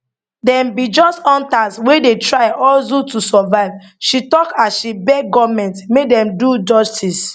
dem be just hunters wey dey try hustle to survive she tok as she beg goment make dem do justice